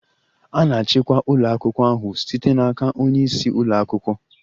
A na-achịkwa ụlọ akwụkwọ ahụ site n'aka onye isi ụlọ akwụkwọ.